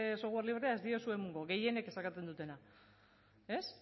software librea ez diozue emango gehienek eskatzen dutena ez